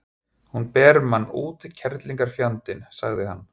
Hún ber mann út, kerlingarfjandinn, sagði hann.